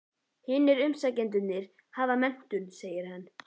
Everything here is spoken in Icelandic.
Hinir umsækjendurnir hafa menntun, segir hann.